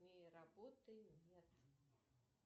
работы нет